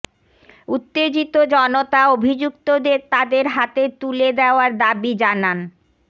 উত্তেজিত জনতা অভিযুক্তদের তাদের হাতে তুলে দেওয়ার দাবি জানান